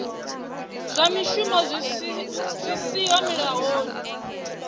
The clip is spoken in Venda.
zwa mishumo zwi siho mulayoni